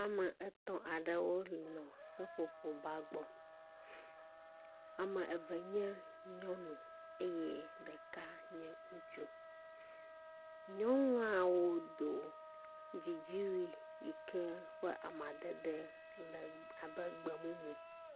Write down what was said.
Ame etɔ̃ aɖewo le seƒoƒoƒ gba gbɔ. Ame eve nye nyɔnu eye ɖeka nye ŋutsu. Nyɔnuawo do dzidziwui yi ke ʋe amadede le abe gbe mumu.